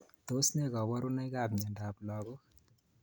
Tos ne kaburunoik ab mnyendo ab lakok.